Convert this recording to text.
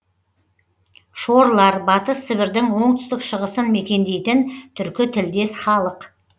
шорлар батыс сібірдің оңтүстік шығысын мекендейтін түркі тілдес халық